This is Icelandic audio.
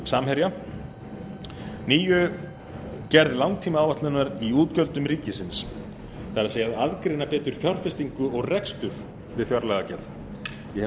samherja númer níundi gerð langtímaáætlunar í útgjöldum ríkisins það er að aðgreina betur fjárfestingu og rekstur við fjárlagagerð ég